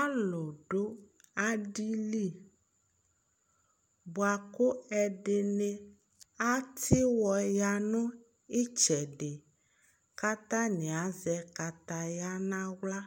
alò do adi li boa kò ɛdini atiwɔ ya no itsɛdi k'atani azɛ kataya n'ala